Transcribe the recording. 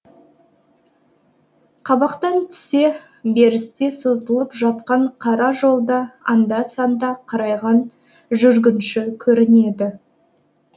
қабақтан түсе берісте созылып жатқан қара жолда анда санда қарайған жүргінші көрінеді